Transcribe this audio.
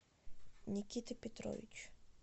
никита петрович